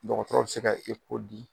Dɔgɔtɔrɔ bi se ka di.